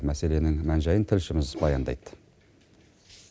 мәселенің мән жайын тілшіміз баяндайды